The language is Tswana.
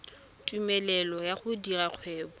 tumelelo ya go dira kgwebo